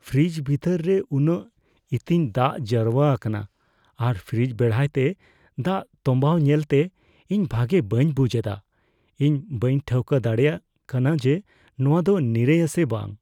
Fridge ᱵᱷᱤᱛᱤᱨ ᱨᱮ ᱩᱱᱟᱹᱜ ᱤᱛᱤᱧ ᱫᱟᱜ ᱡᱟᱣᱨᱟ ᱟᱠᱟᱱᱟ ᱟᱨ ᱯᱷᱨᱤᱡᱽ ᱵᱮᱲᱦᱟᱭᱛᱮ ᱫᱟᱜ ᱛᱚᱢᱵᱟᱣ ᱧᱮᱞᱛᱮ ᱤᱧ ᱵᱷᱟᱜᱮ ᱵᱟᱹᱧ ᱵᱩᱡᱷ ᱮᱫᱟ; ᱤᱧ ᱵᱟᱹᱧ ᱴᱷᱟᱹᱣᱠᱟᱹ ᱫᱟᱲᱮᱭᱟᱫ ᱠᱟᱱᱟ ᱡᱮ ᱱᱚᱶᱟ ᱫᱚ ᱱᱤᱨᱟᱹᱭᱼᱟ ᱥᱮ ᱵᱟᱝ ᱾